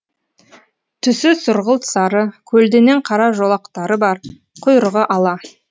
түсі сұрғылт сары көлденең қара жолақтары бар құйрығы ала